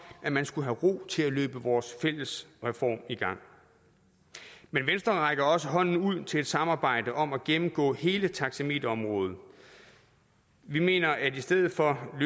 at man skulle have ro til at løbe vores fælles reform i gang men venstre rækker også hånden ud til samarbejde om at gennemgå hele taxameterområdet vi mener at vi i stedet for at